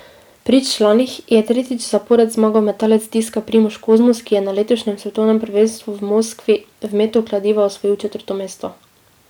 Pri članih je tretjič zapored zmagal metalec diska Primož Kozmus, ki je na letošnjem svetovnem prvenstvu v Moskvi v metu kladiva osvojil četrto mesto.